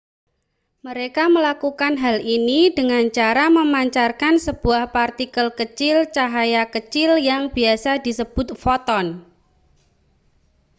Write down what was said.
mereka melakukan hal ini dengan cara memancarkan sebuah partikel kecil cahaya kecil yang biasa disebut foton